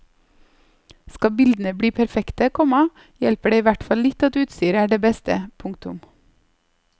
Skal bildene bli perfekte, komma hjelper det ihvertfall litt at utstyret er det beste. punktum